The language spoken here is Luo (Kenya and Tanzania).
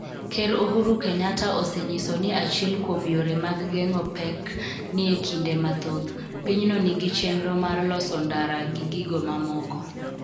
ker Uhuru Kenyatta osenyiso ni achiel kuom yore mag geng'o pek ni e kinde mathoth, pinyno nigi chenro mar loso ndara gi gigo mamoko.